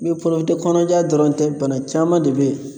kɔnɔja dɔrɔn tɛ bana caman de be yen